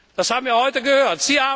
Das haben wir heute gehört.